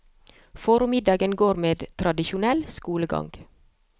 Formiddagen går med til tradisjonell skolegang.